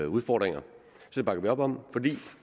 udfordringer det bakker vi op om fordi